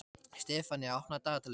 Sefanía, opnaðu dagatalið mitt.